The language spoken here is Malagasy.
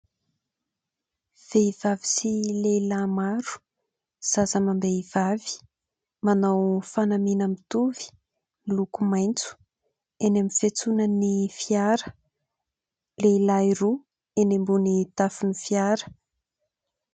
Vehivavy sy lehilahy maro zaza amam-behivavy manao fanamiana mitovy miloko maitso ; eny amin'ny fiantsonan'ny fiara lehilahy roa eny ambon'ny tafon'ny fiara.